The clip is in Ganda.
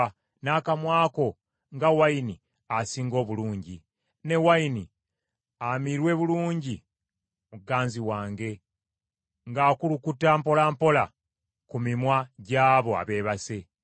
n’akamwa ko nga nvinnyo esinga obulungi. Omwagalwa Ne wayini amirwe bulungi muganzi wange, ng’akulukuta mpola mpola ku mimwa gy’abo abeebase.